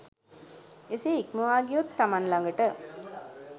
එසේ ඉක්මවා ගියොත් තමන් ළඟට